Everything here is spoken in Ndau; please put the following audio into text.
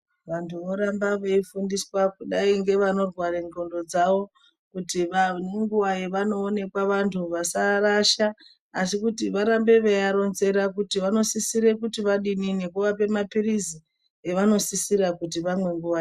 Vantu voramba veifundiswa kudai ngevanorwara ndxondo dzawo nenguwa dzavanoonekwa vantu vasaarasha asi kuti varambe kuva ronzera kuti vanosisira kuti adini nekuvapa mapirizi evanosisira kuti vamwe nguwa yawo.